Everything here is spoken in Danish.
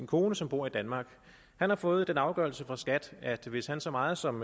kone som bor i danmark han har fået den afgørelse fra skat at hvis han så meget som